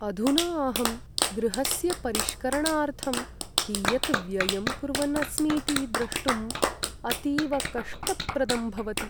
अधुना अहं गृहस्य परिष्करणार्थं कियत् व्ययं कुर्वन् अस्मीति द्रष्टुम् अतीव कष्टप्रदं भवति।